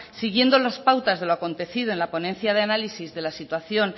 siguiendo las pautas de lo acontecido en la ponencia de análisis de la situación